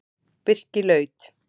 Birkilaut